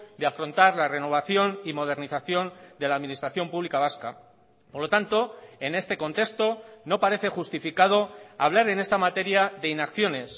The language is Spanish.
de afrontar la renovación y modernización de la administración pública vasca por lo tanto en este contexto no parece justificado hablar en esta materia de inacciones